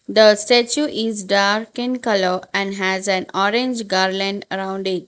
the statue is dark in colour and has an orange garland around it.